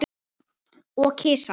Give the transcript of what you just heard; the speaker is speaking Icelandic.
Og kisa.